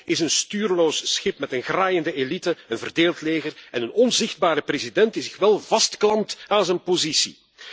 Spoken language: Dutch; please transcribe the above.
Congo is een stuurloos schip met een graaiende elite, een verdeeld leger en een onzichtbare president die zich wel vastklampt aan zijn positie.